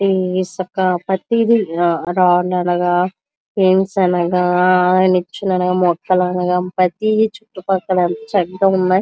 ఈ ఇసుక ప్రతీది రాళ్ళూ అనగా ఫెన్స అనగా నిచ్చన అనగా ప్రతీది చుట్టు పక్కల చక్కగా ఉన్నాయి.